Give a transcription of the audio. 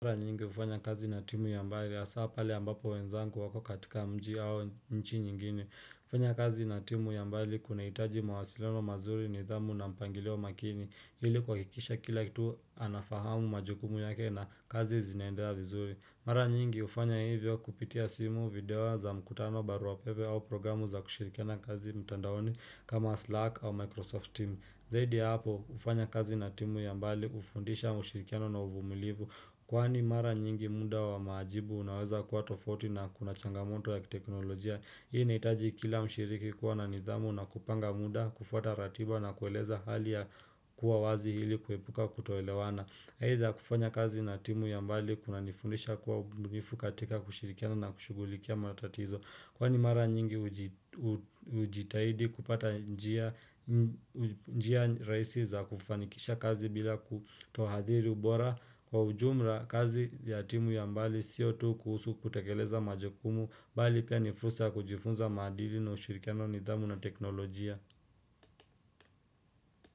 Mara nyingi ufanya kazi na timu ya mbali ya saa pali ambapo wenzangu wako katika mji au nchi nyingine. Ufanya kazi na timu ya mbali kuna hitaji mawasiliano mazuri ni dhamu na mpangileo makini. Hili kwa kikisha kila kitu anafahamu majukumu yake na kazi zinaendelea vizuri. Mara nyingi ufanya hivyo kupitia simu, video za mkutano, baruapepe au programu za kushirikiana kazi mtandaoni kama Slack au Microsoft team. Zaidi ya hapo, kufanya kazi na timu ya mbali, ufundisha mshirikiano na uvumulivu. Kwani mara nyingi munda wa maajibu unaweza kuwa tofauti na kuna changamoto ya teknolojia. Hii inaitaji kila mshiriki kuwa na nidhamu na kupanga muda, kufata ratiba na kueleza hali ya kuwa wazi ili kuepuka kutoelewana. Either, kufanya kazi na timu ya mbali, kuna nifundisha kuwa mbunifu katika kushirikiano na kushugulikia matatizo. Kwani mara nyingi ujitahidi kupata njia raisi za kufanikisha kazi bila kutohadiri ubora kwa ujumra kazi ya timu ya mbali sio tu kuhusu kutekeleza majukumu, bali pia nifursa kujifunza madili na ushirikiano nidhamu na teknolojia.